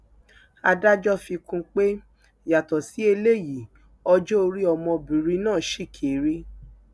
adájọ fi kún un pé yàtọ sí eléyìí ọjọ orí ọmọbìnrin náà ṣì kéré